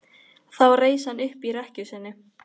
Þá reis hann upp í rekkju sinni.